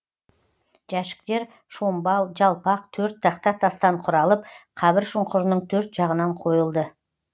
жәшіктер шомбал жалпақ төрт тақта тастан құралып қабір шұңқырының төрт жағынан қойылды